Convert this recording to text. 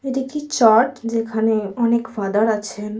এটি কি চার্চ যেখানে অনেক ফাদার আছেন।